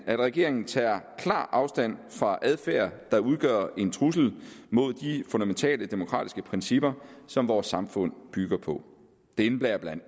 at regeringen tager klart afstand fra adfærd der udgør en trussel mod de fundamentale demokratiske principper som vores samfund bygger på det indebærer bla